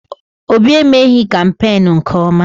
Obi emeghị kampeenu nke ọma.